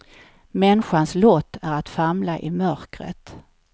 Människans lott är att famla i mörkret.